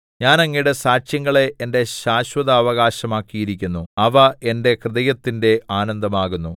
ഞാൻ അങ്ങയുടെ സാക്ഷ്യങ്ങളെ എന്റെ ശാശ്വതാവകാശമാക്കിയിരിക്കുന്നു അവ എന്റെ ഹൃദയത്തിന്റെ ആനന്ദമാകുന്നു